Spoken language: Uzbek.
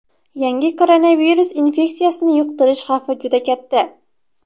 Yangi koronavirus infeksiyasini yuqtirish xavfi juda katta.